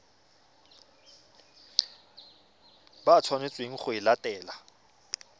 ba tshwanetseng go e latela